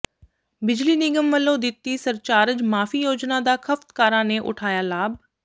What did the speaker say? ਬਿਜਲੀ ਨਿਗਮ ਵੱਲੋਂ ਦਿੱਤੀ ਸਰਚਾਰਜ ਮਾਫ਼ੀ ਯੋਜਨਾ ਦਾ ਖ਼ਪਤਕਾਰਾਂ ਨੇ ਉਠਾਇਆ ਲਾਭ